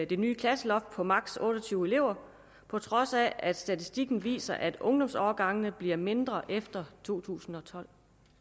det nye klasseloft på maksimum otte og tyve elever på trods af at statistikken viser at ungdomsårgangene bliver mindre efter 2012